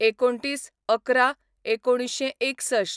२९/११/१९६१